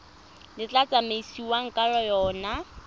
le tla tsamaisiwang ka yona